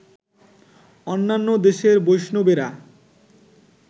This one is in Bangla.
অন্যান্য দেশের বৈষ্ণবেরা